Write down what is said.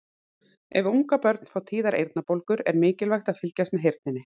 Ef ungabörn fá tíðar eyrnabólgur er mikilvægt að fylgjast með heyrninni.